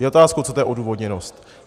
Je otázkou, co to je odůvodněnost.